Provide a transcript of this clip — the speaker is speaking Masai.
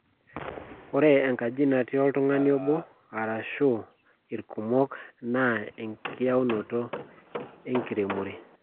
Ore enkaji natii oltung`ani obo arashu irkumok naa enkitayunoto e nkiremore.